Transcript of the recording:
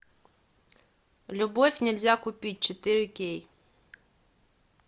любовь нельзя купить четыре кей